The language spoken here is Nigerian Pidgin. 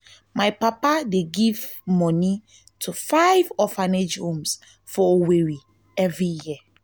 my papa dey give moni to five orphanage home for owerri every year.